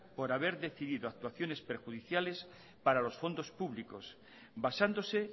por haber decidido actuaciones perjudiciales para los fondos públicos basándose